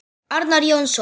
Arnar Jónsson